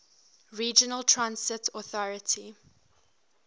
regional transit authority